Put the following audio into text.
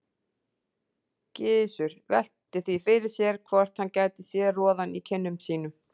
Gizur velti því fyrir sér hvort hann gæti séð roðann í kinnum sínum.